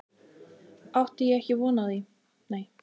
Átti ég ekki á því von.